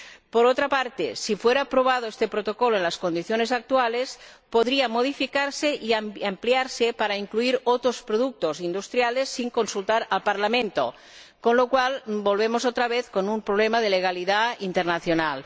Por otra parte, si fuera aprobado este Protocolo en las condiciones actuales, podrían modificarse y ampliarse para incluir otros productos industriales sin consultar al Parlamento, con lo cual volveríamos a encontrarnos otra vez con un problema de legalidad internacional.